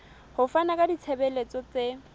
ho fana ka ditshebeletso tse